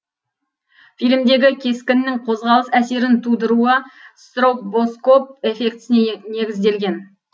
фильмдегі кескіннің қозғалыс әсерін тудыруы стробоскоп эффектісіне негізделген